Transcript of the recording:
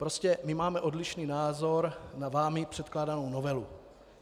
Prostě my máme odlišný názor na vámi předkládanou novelu.